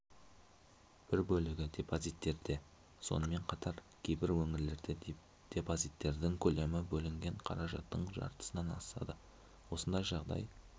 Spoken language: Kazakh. бір бөлігі депозиттерде сонымен қатар кейбір өңірлерде депозиттердің көлемі бөлінген қаражаттың жартысынан асады осындай жағдай